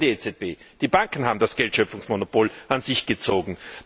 Nicht mehr die EZB, die Banken haben das Geldschöpfungsmonopol an sich gezogen!